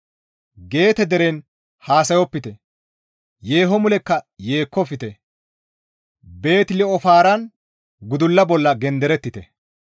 Geete deren haasayopite; yeeho mulekka yeekkofte; Beeti-Li7ofaaran gudulla bolla genderettite.